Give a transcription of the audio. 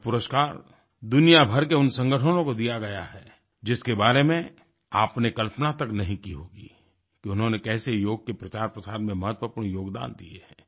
यह पुरस्कार दुनिया भर के उन संगठनों को दिया गया है जिसके बारे में आपने कल्पना तक नहीं की होगी कि उन्होंने कैसे योग के प्रचारप्रसार में महत्वपूर्ण योगदान दिए हैं